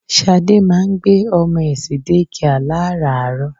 Ṣadé ma ń gbé ọmọ ẹ̀ sí dékià láràárọ.